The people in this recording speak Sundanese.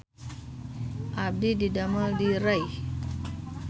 Abdi didamel di Rei